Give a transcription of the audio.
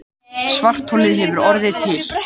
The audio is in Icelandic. Svartholið hefur orðið til.